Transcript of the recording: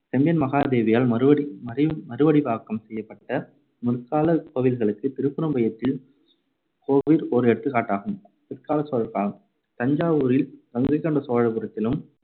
செம்பியன் மகாதேவியால் மறுவடி~ மறுவ~ மறுவடிவாக்கம் செய்யப்பட்ட முற்காலக் கோவில்களுக்குத் திருப்புறம்பியத்தில் கோவில் ஓர் எடுத்துக்காட்டாகும். பிற்காலச் சோழர் காலம் தஞ்சாவூரில் கங்கைகொண்ட சோழபுரத்திலும்